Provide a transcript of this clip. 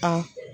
A